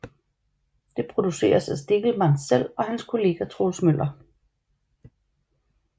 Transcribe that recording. Det produceres af Stegelmann selv og hans kollega Troels Møller